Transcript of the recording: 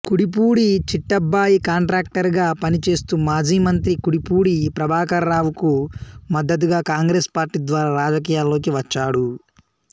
Kudipudi Chittabbayi contractor గా పనిచేస్తూ మాజీ మంత్రి కుడిపూడి ప్రభాకరరావుకు మద్దతుగా కాంగ్రెస్ పార్టీ ద్వారా రాజకీయాల్లోకి వచ్చాడు